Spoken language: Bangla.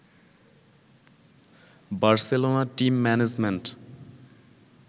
Barcelona team management